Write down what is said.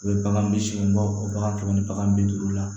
U bɛ bagan bi seegin bɔ bagan kɛmɛ ni baga ni bi duuru la